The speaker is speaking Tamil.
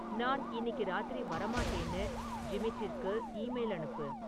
நான் இன்னிக்கு ராத்திரி வரமாட்டேன்னு ஜிமிட்டிற்கு ஈமெயில் அனுப்பு